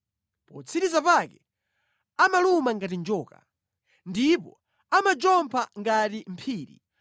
Potsiriza pake amaluma ngati njoka, ndipo amajompha ngati mphiri.